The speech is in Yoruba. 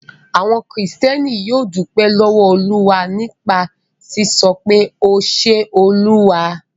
Àwọn Kìrìtẹ́ẹ́nì yóò dúpẹ́ lọ́wọ́ Olúwa nípa sísọ pé 'O ṣe Olúwa'.